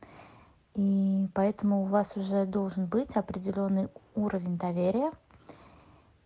мм поэтому у вас уже должен быть определённый уровень доверия